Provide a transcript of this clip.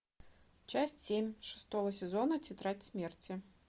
часть семь шестого сезона тетрадь смерти